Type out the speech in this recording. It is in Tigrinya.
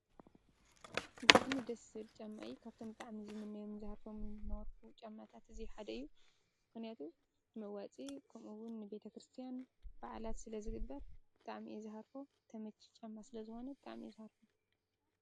ብጣዕሚ ደስ ዝብል ጫማ እዩ ካብቶም ብጣዕሚ ዝምነዮምን ዝሃርፎምን ዝነበርኩ ጫማታት እዚ ሓደ እዩ ምክንያቱ መዋፅኢ ከምኡ እዉን ንቤተክርስትያን በዓላት ስለዝግበር ብጣዕሚ እየ ዝሃርፎ ተመቺ ጫማ ስለ ዝኮነ ብጣዕሚ እየ ዝሃርፎ።